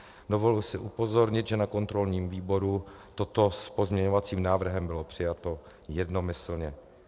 Dovoluji si upozornit, že na kontrolním výboru toto s pozměňovacím návrhem bylo přijato jednomyslně.